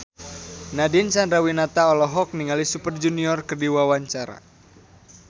Nadine Chandrawinata olohok ningali Super Junior keur diwawancara